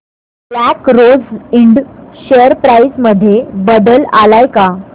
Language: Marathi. black Rose Ind share price मध्ये बदल आलाय का